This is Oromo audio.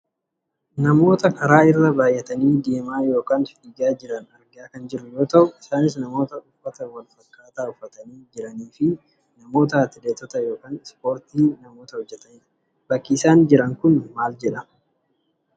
Namoota karaa irra baayyatanii deemaa yookaan fiigaa jiran argaa kan jirru yoo ta'u, isaanis namoota uffata wal fakkaataa uffatanii jiraniifi namoota atileetota yookaan ispoortii namoota hojjatanidha. Bakki isaan jiran kun maal jedhama?